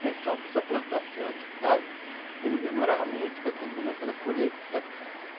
Se uma pessoa plantar assim, um hectare, ele demorava muito para terminar aquela colheita, sabe?